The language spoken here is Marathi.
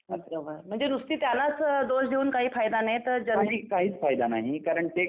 म्हणजे नुसती त्याला असं दोष देऊन काय फायदा नाही तर